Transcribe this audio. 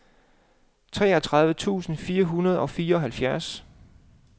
treogtredive tusind fire hundrede og fireoghalvfjerds